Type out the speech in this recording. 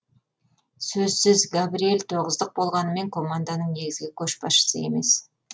сөзсіз габриел тоғыздық болғанымен команданың негізгі көшбасшысы емес